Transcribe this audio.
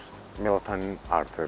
Melatonin artır.